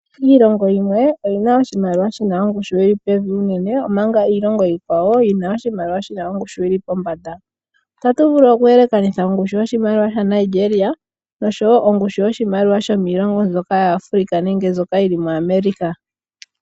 Iilongo yimwe oyi na oshimaliwa shi na ongushu yili pevi unene, omanga iilongo iikwawo yi na oshimaliwa shi na ongushu yili pombanda. Otatu vulu oku elekanitha ongushu yoshimaliwa shaNigeria noshowo ongushu yoshimaliwa shomiilongo mbyoka yaAfrica nenge mbyoka yili muAmerica.